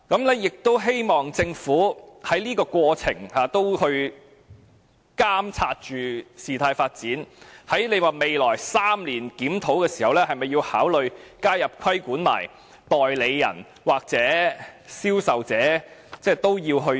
我亦希望政府在過程中也監察事態發展，在未來3年檢討時，會否考慮加入規管代理人或銷售者？